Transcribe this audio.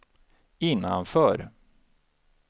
innanför